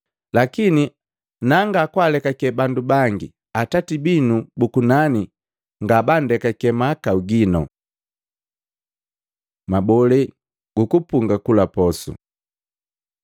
Lakini nanga kwaalekake bandu bangi, Atati binu bu kunani ngabandekake mahakau gino. Mabolee guku punga kula posu